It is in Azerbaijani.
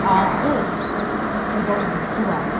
ağır oba ulusu var.